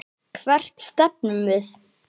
Hvert stefnum við?